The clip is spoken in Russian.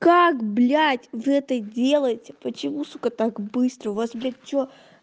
как блядь вы это делаете почему сука так быстро у вас блядь что